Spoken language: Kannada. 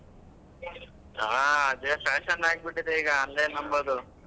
ಹಾ ಅದೇ fashion ಆಗ್ಬಿಟ್ಟಿದೆ ಈಗ online ಅನ್ನೋದು.